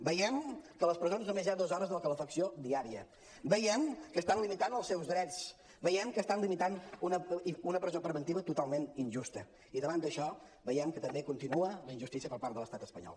veiem que a les presons només hi ha dos hores de calefacció diària veiem que estan limitant els seus drets veiem que estan limitant una presó preventiva totalment injusta i davant d’això veiem que també continua la injustícia per part de l’estat espanyol